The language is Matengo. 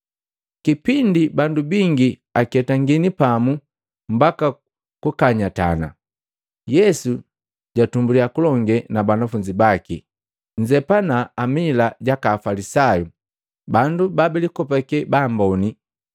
Kipindi bandu bingi aketangini pamu mbaka kukanyatana. Yesu jatumbulya kulonge na banafunzi baki, “Nzepana amila jaka Afalisayu, bandu babilikopake baamboni.